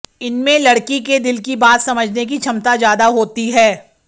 इनमें लडक़ी के दिल की बात समझने की क्षमता ज्यादा होती है